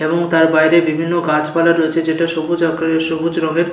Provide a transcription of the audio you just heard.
এবং তার বাইরে বিভিন্ন গাছপালা রয়েছে যেটা সবুজ আকারের সবুজ রং এর--